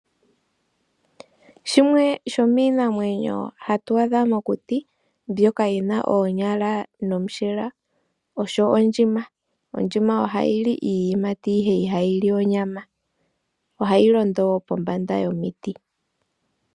Shimwe shomiinamwenyo hatu adha mokuti mbyoka yina oonyala nomushila osho ondjima, ondjima ohayi li iiyimati ihe ihayi li onyama, ohayi londo pombanda yomiti.